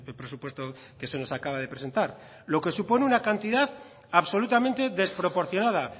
presupuesto que se nos acaba de presentar lo que supone una cantidad absolutamente desproporcionada